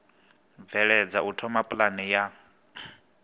bveledza u thoma pulane ya